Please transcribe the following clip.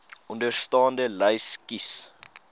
onderstaande lys kies